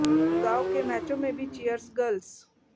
अब गांव के मैचों में भी चीयर्स गर्ल्स